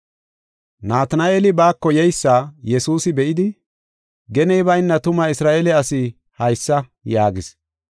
Natina7eeli baako yeysa Yesuusi be7idi, “Geney bayna tuma Isra7eele asi haysa!” yaagis.